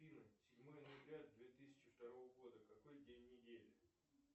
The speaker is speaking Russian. седьмое ноября две тысячи второго года какой день недели